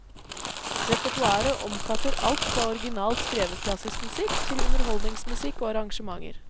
Repertoaret omfatter alt fra originalt skrevet klassisk musikk til underholdningsmusikk og arrangementer.